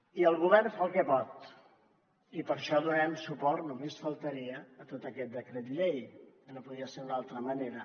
i el govern fa el que pot i per això donarem suport només faltaria a tot aquest decret llei que no podia ser d’una altra manera